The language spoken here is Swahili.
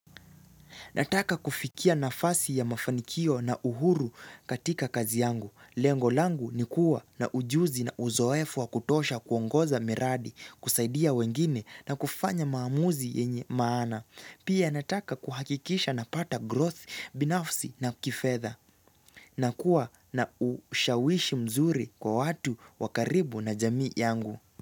Nataka kufikia nafasi ya mafanikio na uhuru katika kazi yangu. Lengo langu ni kuwa na ujuzi na uzoefu wa kutosha kuongoza miradi, kusaidia wengine na kufanya maamuzi yenye maana. Pia nataka kuhakikisha napata growth binafsi na kifedha. Nakua na ushawishi mzuri kwa watu wa karibu na jamii yangu.